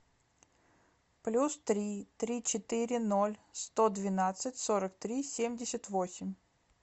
плюс три три четыре ноль сто двенадцать сорок три семьдесят восемь